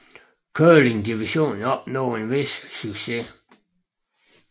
Curling divisionen opnåede en vis succes